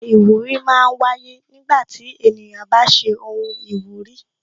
Oyè iwuri máa ń wáyé nígbà tí ènìyàn bá ṣe ohun ìwúrí